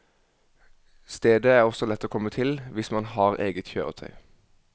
Stedet er også lett å komme til, hvis man har eget kjøretøy.